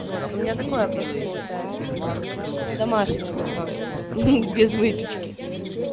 вот у меня такое просто получается типа домашнее готовить без выпечки